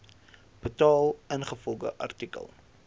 betaal ingevolge artikel